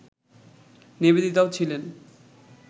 নিবেদিতাও ছিলেন